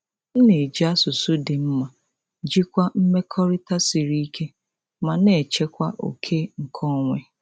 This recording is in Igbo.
M na-eji asụsụ dị mma jikwaa mmekọrịta siri ike ma na-echekwa oke nkeonwe.